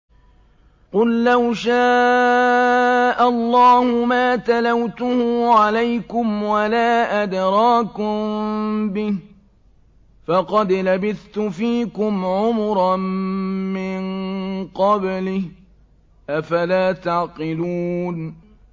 قُل لَّوْ شَاءَ اللَّهُ مَا تَلَوْتُهُ عَلَيْكُمْ وَلَا أَدْرَاكُم بِهِ ۖ فَقَدْ لَبِثْتُ فِيكُمْ عُمُرًا مِّن قَبْلِهِ ۚ أَفَلَا تَعْقِلُونَ